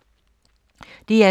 DR2